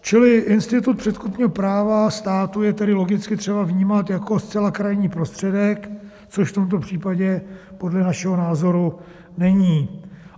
Čili institut předkupního práva státu je tedy logicky třeba vnímat jako zcela krajní prostředek, což v tomto případě podle našeho názoru není.